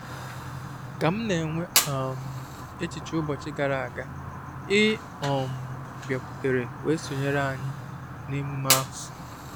Kà m na-enwe um echiche ụbọchị gara aga, ì um bịakwutere wee sonyeere ànyị n’emume ahụ